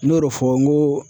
N y'o de fɔ n ko